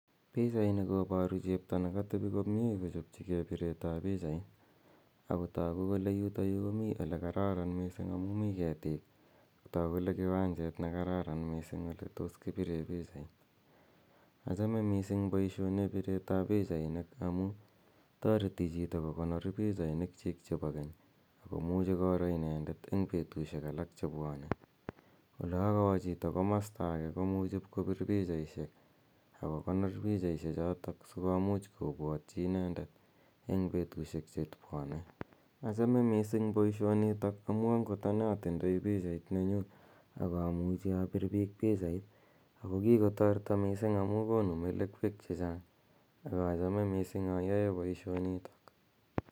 Pichaini koboru chepto ne katebi komie kochopchikei biretab pichait, ak kotoku kole yutoyu komi ole kararan mising amu mi ketik, ak ko toku kole kiwanjet ne kararan mising ole tos kipire pichait. Achame mising boisioneb biretab pichainik amu, toreti chito kokonor pichainikchik chebo keny, ak komuchi koro inendet eng betusiek alak che bwone. Olo kowo chito komosta ake komuchi pkobir pichaisiek ak kokonor pichaisie chotok sikomuch kobwotyi inendet eng betusiek che bwone, achame mising boisionitok amu angot ane atindoi pichait nenyu ak amuchi abir piik pichait ako kikotoreto mising amu konu melekwek che chang ak achome mising ayoe boisionito.